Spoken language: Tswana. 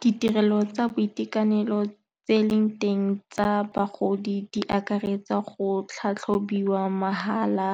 Ditirelo tsa boitekanelo tse e leng teng tsa bagodi di akaretsa go tlhatlhobiwa mahala